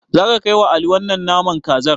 Zaka kaiwa Ali wannan naman kazar?